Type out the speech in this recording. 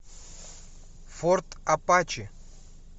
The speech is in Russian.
форт апачи